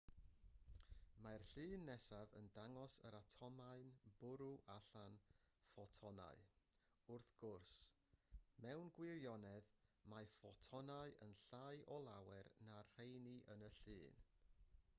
mae'r llun nesaf yn dangos yr atomau'n bwrw allan ffotonau wrth gwrs mewn gwirionedd mae ffotonau yn llai o lawer na'r rheini yn y llun